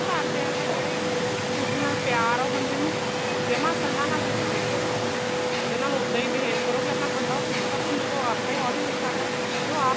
ਘਰਦਿਆ ਦਾ ਜਿਹੜਾ ਇੱਕ ਦੂਸਰੇ ਨਾਲ ਪਿਆਰ ਏ ਉਹ ਬੰਦੇ ਨੂੰ ਜਮਾਂ ਇੱਕਲਾ ਨਾ feel ਹੋਣ ਦੋ ਉਹਦੇ ਨਾਲ ਉੱਦਾ ਹੀ behave ਕਰੋ ਕੀ ਆਪਣਾ ਬੰਦਾ ਉਹ ਦੁੱਖ ਭੁੱਲੂਗਾ ਉਹ ਆਪੇ ਹੋਲੀ ਹੋਲੀ ਕਰਦਾ ਜੋ ਆਪ